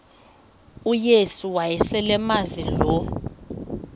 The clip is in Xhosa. uyesu wayeselemazi lo